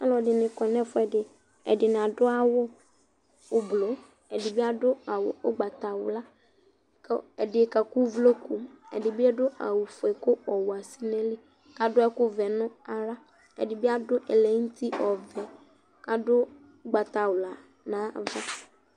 Ɔlu ɛdini kɔ nu efu ɛdi Ɛdini adu awu ublɔ ɛdi bi adu awu ugbatawla ku ɛdi kaku uvloku Ɛdi bi adu awu ɔfue ku ɔwɛ asɛ nu ayili ku adu ɛku ɔvɛ nu aɣla ɛdi bi adu ɛlɛ nu uti ɔvɛ ku adu ugbatawla nu ayava